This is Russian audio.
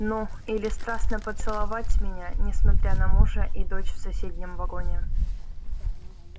ну или страстно поцеловать меня несмотря на мужа и дочь в соседнем вагоне